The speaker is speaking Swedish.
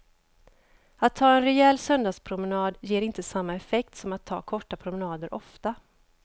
Att ta en rejäl söndagspromenad ger inte samma effekt som att ta korta promenader ofta.